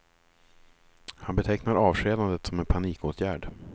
Han betecknar avskedandet som en panikåtgärd.